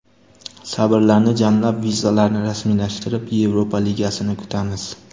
Sabrlarni jamlab, vizalarni rasmiylashtirib, Yevropa ligasini kutamiz”.